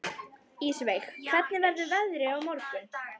Ísveig, hvernig verður veðrið á morgun?